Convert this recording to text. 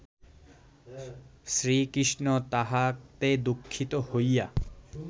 শ্রীকৃষ্ণ তাহাতে দুঃখিত হইয়া